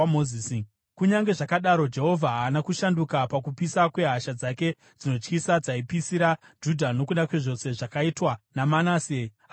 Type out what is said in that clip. Kunyange zvakadaro, Jehovha haana kushanduka pakupisa kwehasha dzake dzinotyisa, dzaipisira Judha nokuda kwezvose zvakaitwa naManase achimutsamwisa.